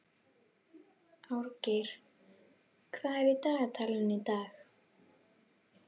Árgeir, hvað er í dagatalinu í dag?